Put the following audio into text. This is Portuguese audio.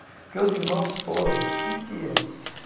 Porque os irmãos todos sentiram.